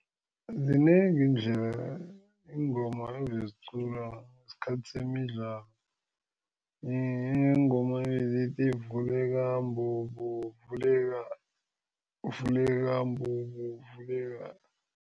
Zinengi iindlela iingoma ebeziqulwa ngesikhathi semidlalo, kuneengoma ebezithi vuleka mbobo vuleka, vuleka mbobo vuleka.